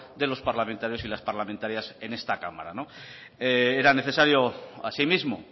de los parlamentarios y parlamentarias en esta cámara no era necesario asimismo